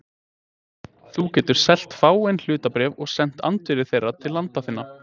Þú getur selt fáein hlutabréf og sent andvirði þeirra til landa þinna.